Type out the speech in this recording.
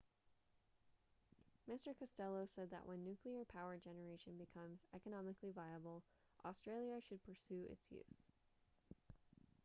mr costello said that when nuclear power generation becomes economically viable australia should pursue its use